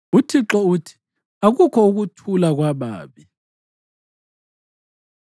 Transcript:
UThixo uthi, “Akukho ukuthula kwababi.”